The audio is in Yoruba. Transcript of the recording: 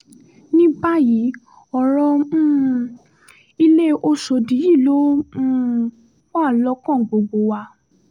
ní báyìí ọ̀rọ̀ um ilé ọ̀ṣọ́dì yìí ló um wà lọ́kàn gbogbo wa